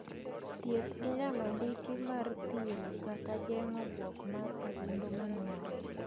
Thieth inyalo ndiki mar thiro kata geng'o buok mar adundo manuore